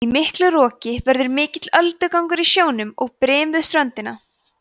í miklu roki verður mikill öldugangur á sjónum og brim við ströndina